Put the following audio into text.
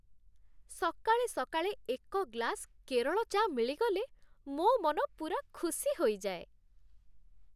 ସକାଳେ ସକାଳେ ଏକ ଗ୍ଲାସ କେରଳ ଚା' ମିଳିଗଲେ ମୋ ମନ ପୂରା ଖୁସି ହୋଇଯାଏ ।